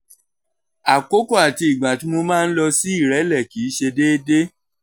àkókò àti ìgbà tí mo máa ń lọ sí ìrẹ́lẹ̀ kì í ṣe deede